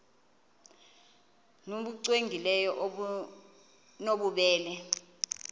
nbu cwengileyo obunobubele